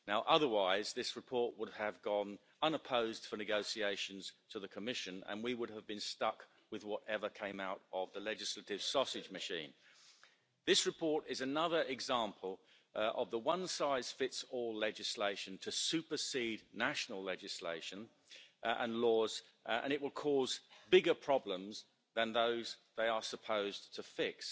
Otherwise this report would have gone unopposed for negotiations to the Commission and we would have been stuck with whatever came out of the legislative sausage machine. This report is another example of the one-size-fits-all legislation to supersede national legislation and laws and it will cause bigger problems than those they are supposed to fix.